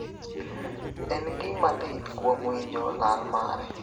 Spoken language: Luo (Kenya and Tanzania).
en gima lit kuom winjo lal mare